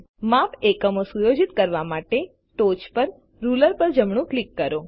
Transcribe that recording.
માપ એકમો સુયોજિત કરવા માટે ટોચ પર રુલર પર જમણું ક્લિક કરો